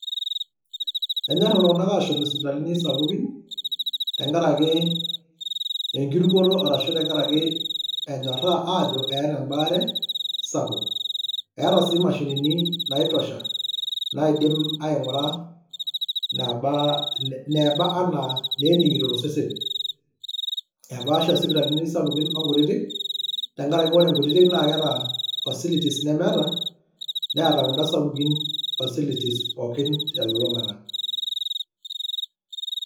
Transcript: Enyor iltunganak aashom isipitalini sapukin tenkaraki enkirukoto arashu tenkaraki enyoraa aajo eeta embaare sapuk. Eeta sii imashinini naitosha naidim aingura naba inebaa anaa neningito tosesen . Epaasha sipitalini sapukin onkutitk tenkaraki ore nkutitik naa keeta facilities nemeeta ,neeta kun`da sapukin facilities pookin telulungata